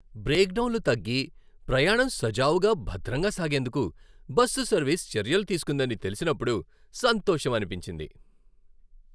బ్రేక్డౌన్లు తగ్గి, ప్రయాణం సజావుగా, భద్రంగా సాగేందుకు బస్సు సర్వీస్ చర్యలు తీసుకుందని తెలిసినప్పుడు సంతోషమనిపించింది.